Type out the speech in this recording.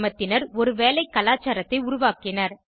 கிராமத்தினர் ஒரு வேலை கலாச்சாரத்தை உருவாக்கினர்